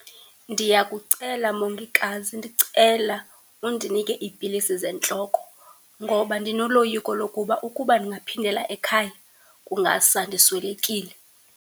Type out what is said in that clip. Ndiyakucela mongikazi, ndicela undinike iipilisi zentloko ngoba ndinoloyiko lokuba ukuba ndingaphindela ekhaya, kungasa ndiswelekile.